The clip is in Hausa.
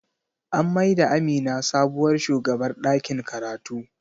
An mai da Amina sabuwar shugabar ɗakin karatu.